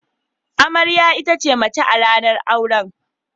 Amarya ita ce mace a ranan auren.